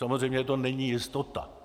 Samozřejmě to není jistota.